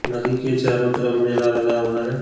नदी के चारों तरफ़ मेला लगा हुआ है।